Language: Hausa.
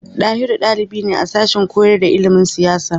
Ɗahiru ɗalibi ne a sashen koyar da ilimin siyasa.